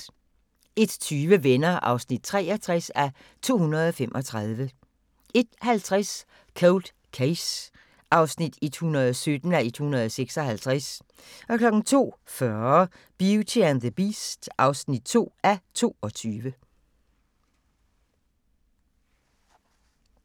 01:20: Venner (63:235) 01:50: Cold Case (117:156) 02:40: Beauty and the Beast (2:22)